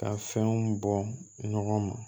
Ka fɛnw bɔ ɲɔgɔn ma